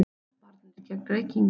VARNIR GEGN REYKINGUM